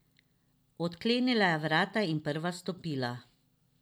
Odklenila je vrata in prva vstopila.